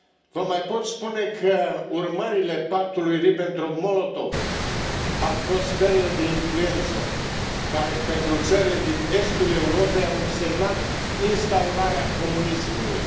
Vă mai pot spune că urmările Pactului Ribbentrop Molotov au fost sferele de influență, care pentru țările din estul Europei au însemnat instaurarea comunismului.